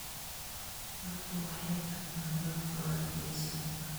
Dadku waxay bartaan doorkooda geeddi-socodka.